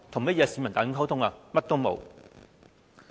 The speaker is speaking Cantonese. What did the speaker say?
有跟市民大眾溝通嗎？